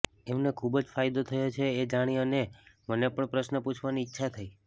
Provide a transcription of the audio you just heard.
એમને ખુબ જ ફાયદો થયો છે એ જાણી અને મને પણ પ્રશ્ન પૂછવાની ઈચ્છા થઇ